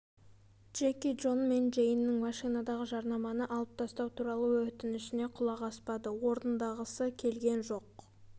джеки джон мен джейннің машинадағы жарнаманы алып тастау туралы өтінішіне құлақ аспады орындағысы келген жоқ